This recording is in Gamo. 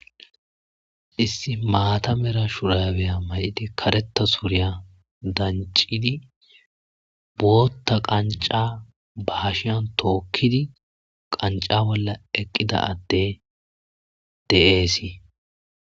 issi maatamera shurabeya may7idi kareta suriya dancidi bootta qanca ba hashiyan tookkidi qanca bolla eqqida adde de7eesi